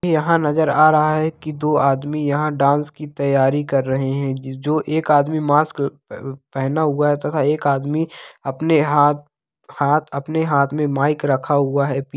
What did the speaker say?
यहाँ नजर आ रहा है कि दो आदमी यह डांस की तैयारी कर रहे है जिस जो एक आदमी मास्क अ ल ब पहन हुआ है तथा एक आदमी अपने हा हाथ अपने हाथ में माइक रखा हुआ है।